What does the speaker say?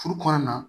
Furu kɔnɔna na